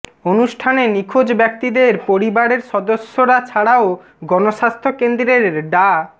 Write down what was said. অনুষ্ঠানে নিখোঁজ ব্যক্তিদের পরিবারের সদস্যরা ছাড়াও গণস্বাস্থ্য কেন্দ্রের ডা